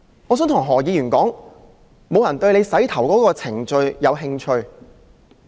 我想對何議員說，沒有人對他洗髮的程序有興趣。